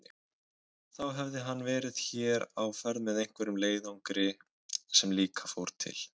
Þá hefði hann verið hér á ferð með einhverjum leiðangri sem líka fór til